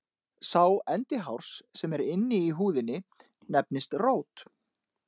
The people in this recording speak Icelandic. Sá endi hárs sem er inni í húðinni nefnist rót.